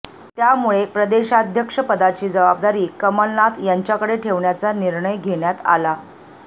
त्यामुळे प्रदेशाध्यक्षपदाची जबाबदारी कमलनाथ यांच्याकडे ठेवण्याचा निर्णय घेण्यात आला